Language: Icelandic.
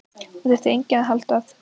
Það þyrfti enginn að halda að